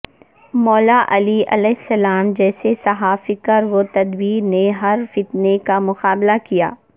مولا علی علیہ السلام جیسے صاحب فکر و تدبر نے ہر فتنے کا مقابلہ کیا